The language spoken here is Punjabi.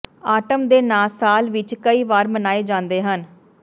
ਆਰਟਮ ਦੇ ਨਾਂ ਸਾਲ ਵਿਚ ਕਈ ਵਾਰ ਮਨਾਏ ਜਾਂਦੇ ਹਨ